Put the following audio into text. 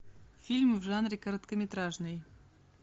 фильм в жанре короткометражный